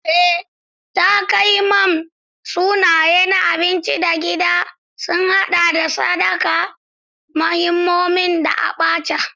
Ee, takamaiman sunaye na abinci na gida sun haɗa da Sakada, Moninmonin, da Abacha.